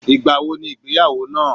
igba wo ni igbeyawo naa